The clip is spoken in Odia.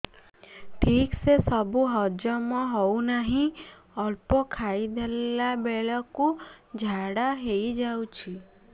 ଠିକସେ ସବୁ ହଜମ ହଉନାହିଁ ଅଳ୍ପ ଖାଇ ଦେଲା ବେଳ କୁ ଝାଡା ହେଇଯାଉଛି